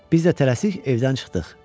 Biz də tələsik evdən çıxdıq.